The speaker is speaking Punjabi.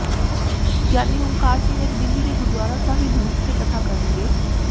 ਗਿਆਨੀ ਉਂਕਾਰ ਸਿੰਘ ਅੱਜ ਦਿੱਲੀ ਦੇ ਗੁਰਦੁਆਰਾ ਸਾਹਿਬ ਵਿਖੇ ਕਥਾ ਕਰਨਗੇ